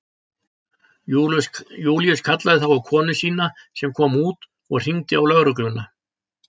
Júlíus kallaði þá á konu sína sem kom út og hringdi á lögregluna.